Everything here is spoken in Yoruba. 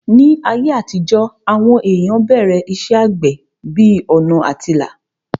Ní ayé àtijó, àwọn èèyàn bẹ̀rẹ̀ iṣẹ́ àgbẹ̀ bí ọ̀nà àtilà